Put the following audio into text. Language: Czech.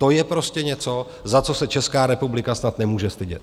To je prostě něco, za co se Česká republika snad nemůže stydět.